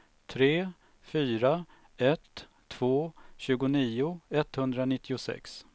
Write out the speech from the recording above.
tre fyra ett två tjugonio etthundranittiosex